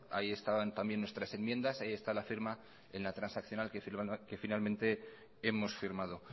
ahí estaban también nuestras enmiendas ahí está la firma en la transaccional que finalmente hemos firmado